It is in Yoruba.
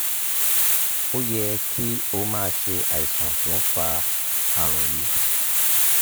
o ye ki o maa se aisan to n fa arun yii